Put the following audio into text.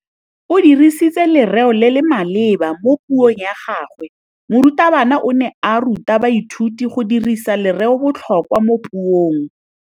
O dirisitse lerêo le le maleba mo puông ya gagwe. Morutabana o ne a ruta baithuti go dirisa lêrêôbotlhôkwa mo puong.